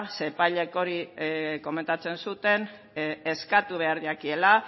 zeren epaileek hori komentatzen zuten eskatu behar jakiela